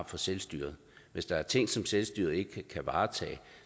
for selvstyret hvis der er ting som selvstyret ikke kan varetage